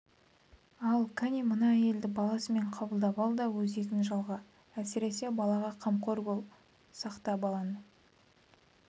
ал кәне мына әйелді баласымен қабылдап ал да өзегін жалға әсіресе балаға қамқор бол сақта баланы